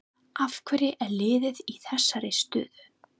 Af hverju er liðið í þessari stöðu?